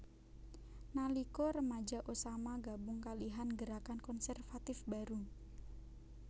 Nalika remaja Osama gabung kalihan gerakan konservatif baru